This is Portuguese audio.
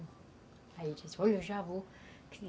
Aí a gente disse, olha, eu já vou, que